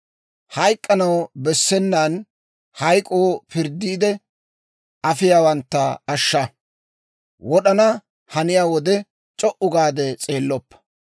Hayk'k'anaw bessenaan, hayk'k'oo pirddiide afiyaawantta ashsha; wod'ana haniyaa wode c'o"u gaade s'eelloppa.